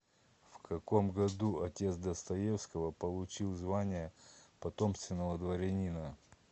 в каком году отец достоевского получил звание потомственного дворянина